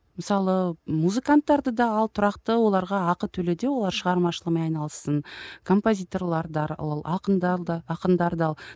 мысалы музыканттарды да ал тұрақты оларға ақы төле де олар шығармашылығымен айналыссын ақындар да ақындарды ал